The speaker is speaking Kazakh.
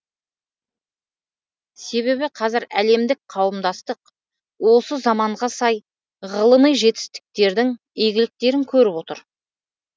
себебі қазір әлемдік қауымдастық осы заманға сай ғылыми жетістіктердің игіліктерін көріп отыр